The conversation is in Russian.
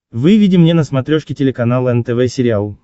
выведи мне на смотрешке телеканал нтв сериал